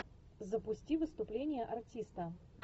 запусти выступление артиста